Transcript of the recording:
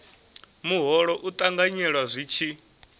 muholo u ṱanganyelwa zwi tshi